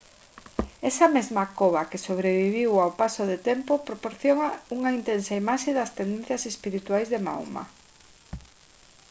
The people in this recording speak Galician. esa mesma cova que sobreviviu ao paso do tempo proporciona unha intensa imaxe das tendencias espirituais de mahoma